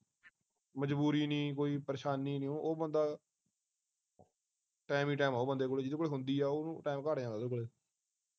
ਮਜਬੂਰੀ ਨੀ ਕੋਈ ਪਰੇਸ਼ਾਨੀ ਨੀ ਉਹ ਉਹ ਬੰਦਾ ਟਾਈਮ ਈ ਟਾਈਮ ਆਉ ਬੰਦੇ ਕੋਲ ਜਿਹਦੇ ਕੋਲ ਹੁੰਦੀ ਆ ਉਹਨੂੰ ਟਾਈਮ ਘੱਟ ਜਾਂਦਾ ਉਹਦੇ ਕੋਲੇ